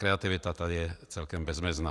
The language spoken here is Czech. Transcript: Kreativita je tady celkem bezmezná.